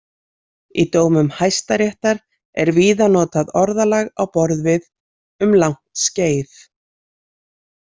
Í dómum Hæstaréttar er víða notað orðalag á borð við „um langt skeið“.